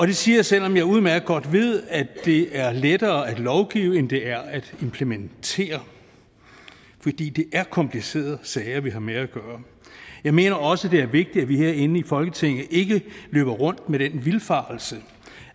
det siger jeg selv om jeg udmærket godt ved at det er lettere at lovgive end det er at implementere fordi det er komplicerede sager vi har med at gøre jeg mener også at det er vigtigt at vi herinde i folketinget ikke løber rundt med den vildfarelse